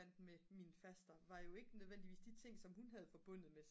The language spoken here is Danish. fandt med min faster var jo ikke nødvendigvis de ting som hun havde forbundet med